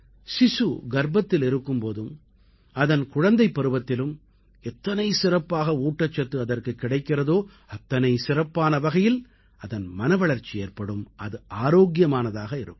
சிசு கர்ப்பத்தில் இருக்கும் போதும் அதன் குழந்தைப் பருவத்திலும் எத்தனை சிறப்பாக ஊட்டச்சத்து அதற்குக் கிடைக்கிறதோ அத்தனை சிறப்பான வகையில் அதன் மனவளர்ச்சி ஏற்படும் அது ஆரோக்கியமான இருக்கும்